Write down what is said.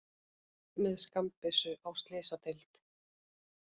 Með skammbyssu á slysadeild